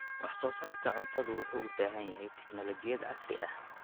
Wax soo saarka cuntadu wuxuu u baahan yahay teknoolojiyad casri ah.